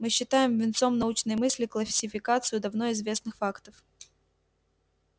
мы считаем венцом научной мысли классификацию давно известных фактов